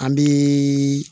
An bɛ